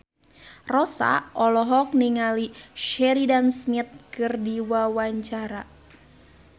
Rossa olohok ningali Sheridan Smith keur diwawancara